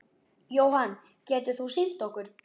Jóhann: Getur þú sýnt okkur?